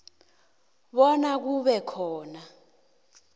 bona kube khona